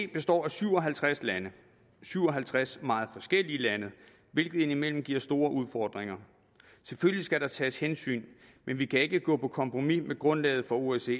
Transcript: består af syv og halvtreds lande syv og halvtreds meget forskellige lande hvilket indimellem giver store udfordringer selvfølgelig skal der tages hensyn men vi kan ikke gå på kompromis med grundlaget for osce